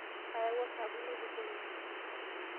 Ayawua osabuni oitukoreki.